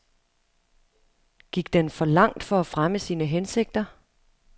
Gik den for langt for at fremme sine hensigter?